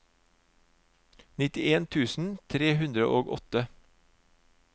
nittien tusen tre hundre og åtte